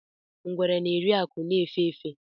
Ngwere na-eri akụ̀ na-efé efé.